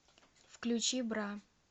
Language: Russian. включи бра